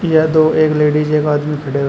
यह दो एक लेडीज एक आदमी खड़े हुए हैं।